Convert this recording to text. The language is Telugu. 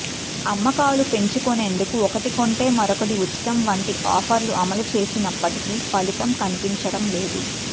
అమ్మకాలు పెంచుకునేందుకు ఒకటి కొంటే మరొకటి ఉచితం వంటి ఆఫర్లు అమలు చేసినప్పటికీ ఫలితం కనిపించడంలేదు